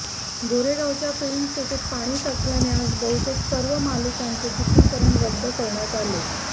गोरेगावच्या फिल्मसिटीत पाणी साचल्याने आज बहुतेक सर्व मालिकांचे चित्रीकरण रद्द करण्यात आले